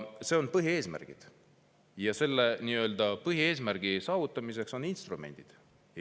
See on põhieesmärk ja selle põhieesmärgi saavutamiseks on instrumendid.